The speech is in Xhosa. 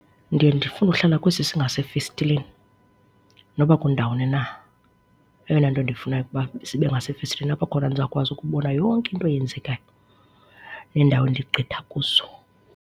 Ndiye ndifune uhlale kwesi singasefestileni noba kundawuni na, eyona nto ndiyifunayo kukuba sibe ngasefestileni apho khona ndizakwazi ukubona yonke into eyenzekayo neendawo endigqitha kuzo.